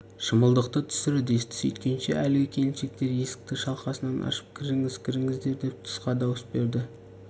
шымылдық түсір десті сүйткенше әлгі келіншектер есікті шалқасынан ашып кіріңіз кіріңіздер деп тысқа дауыс берді